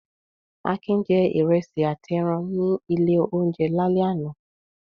Akin jẹ ìrẹsì àti ẹran ní ilé-oúnjẹ lálẹ́ àná.